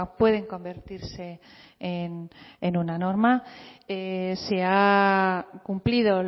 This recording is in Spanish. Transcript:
pueden convertirse en una norma se ha cumplido